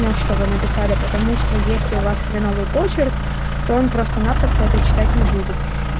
что вы написали потому что есть у вас хреновый почерк то он просто-напросто это читать не будет